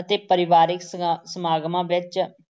ਅਤੇ ਪਰਿਵਾਰਿਕ ਸਗਾ ਸਮਾਗਮਾਂ ਵਿੱਚ